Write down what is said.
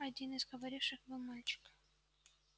один из говоривших был мальчик